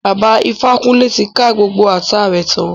Bàbá Ifákúnlé ti ká gbogbo ata rẹ tán